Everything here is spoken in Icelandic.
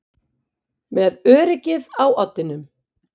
Með öryggið á oddinum